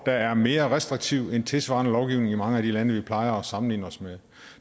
er mere restriktiv end tilsvarende lovgivning i mange af de lande vi plejer at sammenligne os med